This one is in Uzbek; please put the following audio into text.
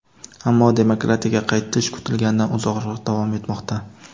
ammo "demokratiyaga qaytish" kutilganidan uzoqroq davom etmoqda.